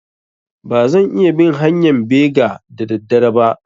Ba zan iya bin hanƴan bega da da dare ba